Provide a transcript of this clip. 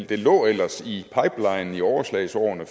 det lå ellers i pipelinen i overslagsårene